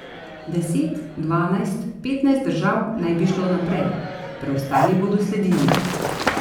Deset, dvanajst, petnajst držav naj bi šlo naprej, preostali bodo sledili.